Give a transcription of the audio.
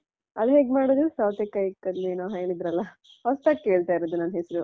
ಅದ್ ಹೇಗ್ ಮಾಡೋದು ಸೌತೆಕಾಯಿ ಕಲ್ ಏನೋ ಹೇಳಿದ್ರಲ್ಲಾ ಹೊಸ್ತಾಗಿ ಕೇಳ್ತಾ ಇರೋದು ನಾನು ಹೆಸ್ರು.